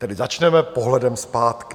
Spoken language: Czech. Tedy začneme pohledem zpátky.